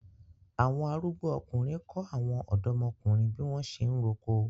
Awon arugbo ọkunrin ko awọn ọdọmokunrin bi wọn ṣe ń roko